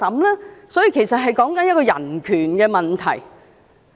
因此，此事關乎的是人權問題。